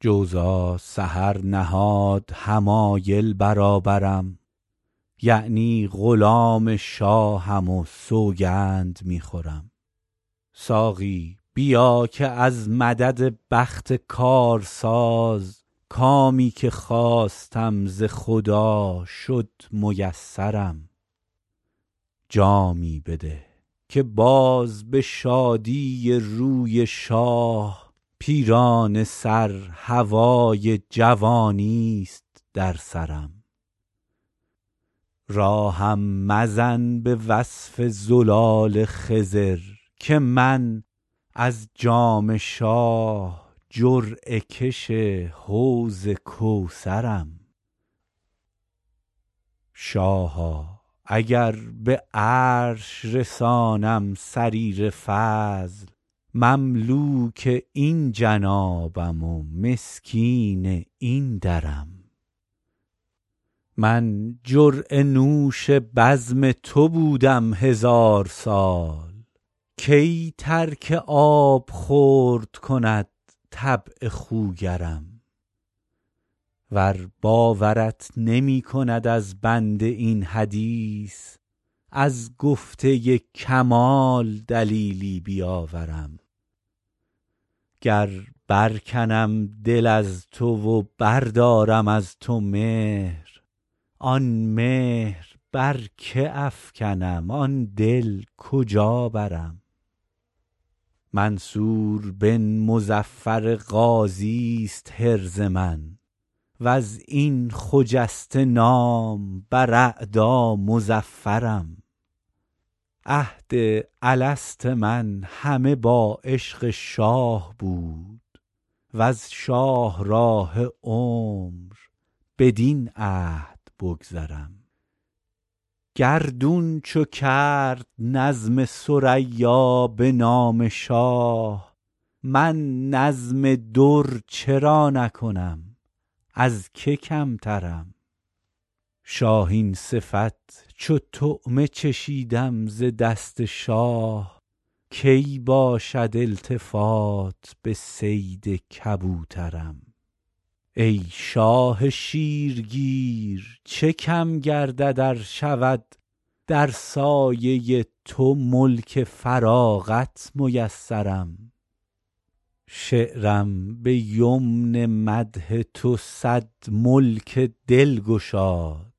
جوزا سحر نهاد حمایل برابرم یعنی غلام شاهم و سوگند می خورم ساقی بیا که از مدد بخت کارساز کامی که خواستم ز خدا شد میسرم جامی بده که باز به شادی روی شاه پیرانه سر هوای جوانیست در سرم راهم مزن به وصف زلال خضر که من از جام شاه جرعه کش حوض کوثرم شاها اگر به عرش رسانم سریر فضل مملوک این جنابم و مسکین این درم من جرعه نوش بزم تو بودم هزار سال کی ترک آبخورد کند طبع خوگرم ور باورت نمی کند از بنده این حدیث از گفته کمال دلیلی بیاورم گر برکنم دل از تو و بردارم از تو مهر آن مهر بر که افکنم آن دل کجا برم منصور بن مظفر غازیست حرز من و از این خجسته نام بر اعدا مظفرم عهد الست من همه با عشق شاه بود وز شاهراه عمر بدین عهد بگذرم گردون چو کرد نظم ثریا به نام شاه من نظم در چرا نکنم از که کمترم شاهین صفت چو طعمه چشیدم ز دست شاه کی باشد التفات به صید کبوترم ای شاه شیرگیر چه کم گردد ار شود در سایه تو ملک فراغت میسرم شعرم به یمن مدح تو صد ملک دل گشاد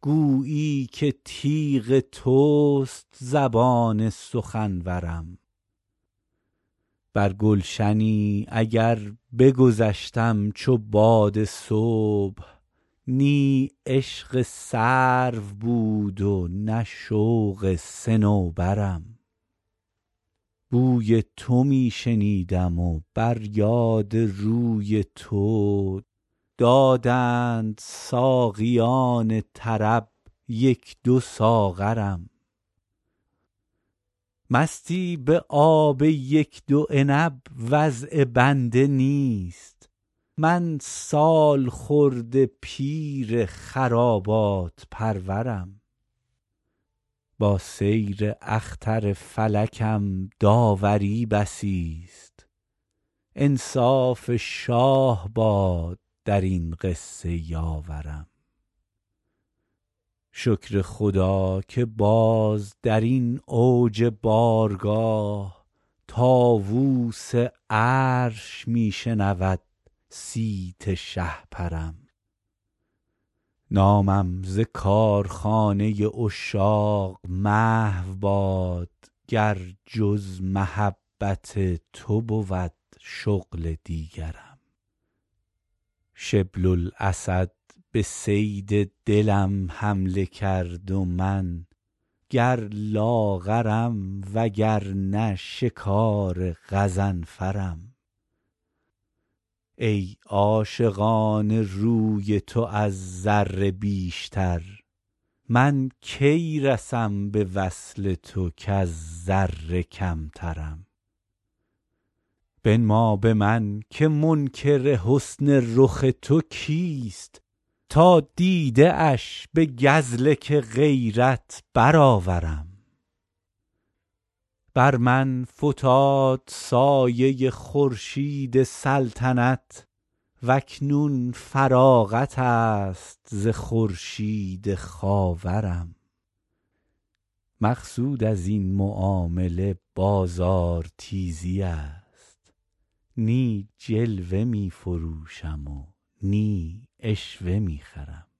گویی که تیغ توست زبان سخنورم بر گلشنی اگر بگذشتم چو باد صبح نی عشق سرو بود و نه شوق صنوبرم بوی تو می شنیدم و بر یاد روی تو دادند ساقیان طرب یک دو ساغرم مستی به آب یک دو عنب وضع بنده نیست من سالخورده پیر خرابات پرورم با سیر اختر فلکم داوری بسیست انصاف شاه باد در این قصه یاورم شکر خدا که باز در این اوج بارگاه طاووس عرش می شنود صیت شهپرم نامم ز کارخانه عشاق محو باد گر جز محبت تو بود شغل دیگرم شبل الاسد به صید دلم حمله کرد و من گر لاغرم وگرنه شکار غضنفرم ای عاشقان روی تو از ذره بیشتر من کی رسم به وصل تو کز ذره کمترم بنما به من که منکر حسن رخ تو کیست تا دیده اش به گزلک غیرت برآورم بر من فتاد سایه خورشید سلطنت و اکنون فراغت است ز خورشید خاورم مقصود از این معامله بازارتیزی است نی جلوه می فروشم و نی عشوه می خرم